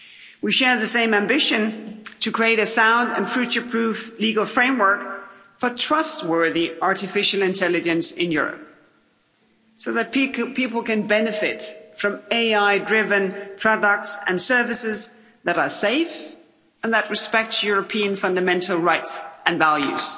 We share the same ambition to create a sound and future-proof legal framework for trustworthy artificial intelligence in Europe so that people can benefit from AI-driven products and services that are safe and that respect European fundamental rights and values.